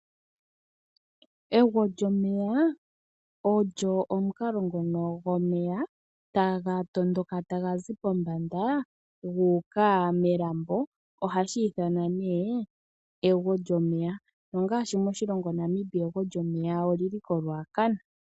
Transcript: Egwo lyomeya olyo omukalo ngono taga tondoka tagazi pombanda guuka melambo hashi ithanwa nee ego lyomeya, ngaashi moNamibia egwo lyomeya olili koRuacana.